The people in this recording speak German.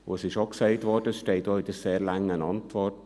Es wurde auch gesagt und steht auch in der sehr langen Antwort: